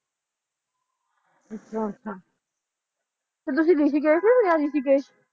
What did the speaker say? ਅੱਛਾ ਅੱਛਾ ਤੇ ਤੁਸੀਂ ਰਿਸ਼ੀਕੇਸ਼